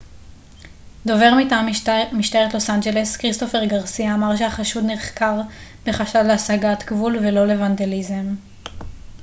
דובר מטעם משטרת לוס אנג'לס כריסטופר גרסיה אמר שהחשוד נחקר בחשד להסגת גבול ולא לוונדליזם